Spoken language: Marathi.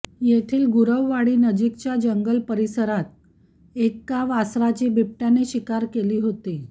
येथील गुरववाडी नजीकच्या जंगल परिसरात एका वासराची बिबटय़ाने शिकार केली होती